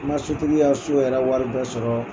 N ma sotigi ya so yɛrɛ wari bɛɛ sɔrɔ.